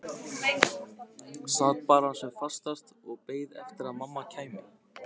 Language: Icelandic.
Sat bara sem fastast og beið eftir að mamma kæmi.